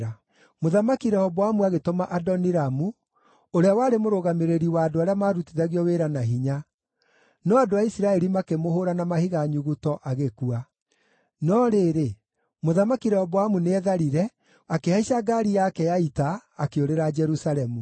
Mũthamaki Rehoboamu agĩtũma Adoniramu ũrĩa warĩ mũrũgamĩrĩri wa andũ arĩa maarutithagio wĩra na hinya; no andũ a Isiraeli makĩmũhũũra na mahiga nyuguto, agĩkua. No rĩrĩ, Mũthamaki Rehoboamu nĩetharire, akĩhaica ngaari yake ya ita, akĩũrĩra Jerusalemu.